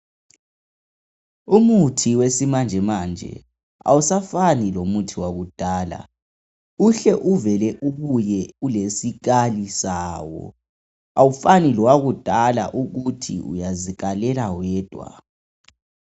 Umuthi wesimanjemanje awusafani lomuthi wakudala, uhle ubuye ulesikali sawo awufanani lomuthi wakudala ukuthi uyazikalela wedwa.